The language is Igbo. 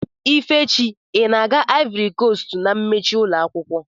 Ifechi ị na-aga ivory coast na emechi ụlọakwụkwọ